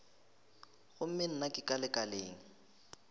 gomme nna ke ka lekaleng